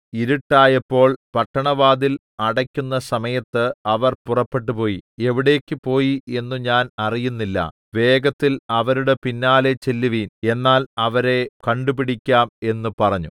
ഇരുട്ടായപ്പോൾ പട്ടണവാതിൽ അടെക്കുന്ന സമയത്ത് അവർ പുറപ്പെട്ടുപോയി എവിടേക്ക് പോയി എന്നു ഞാൻ അറിയുന്നില്ല വേഗത്തിൽ അവരുടെ പിന്നാലെ ചെല്ലുവിൻ എന്നാൽ അവരെ കണ്ടുപിടിക്കാം എന്ന് പറഞ്ഞു